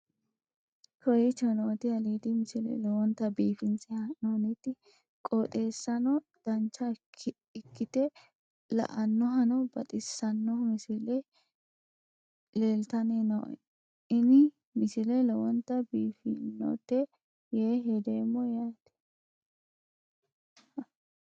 kowicho nooti aliidi misile lowonta biifinse haa'noonniti qooxeessano dancha ikkite la'annohano baxissanno misile leeltanni nooe ini misile lowonta biifffinnote yee hedeemmo yaate